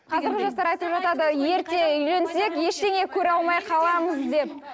қазіргі жастар айтып жатады ерте үйленсек ештеңе көре алмай қаламыз деп